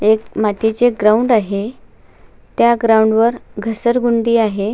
एक मातीचे ग्राउंड आहे त्या ग्राउंड वर घसरगुंडी आहे.